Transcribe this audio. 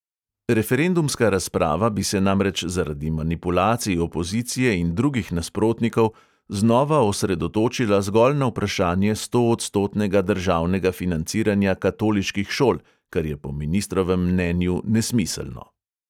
Referendumska razprava bi se namreč zaradi manipulacij opozicije in drugih nasprotnikov znova osredotočila zgolj na vprašanje stoodstotnega državnega financiranja katoliških šol, kar je po ministrovem mnenju nesmiselno.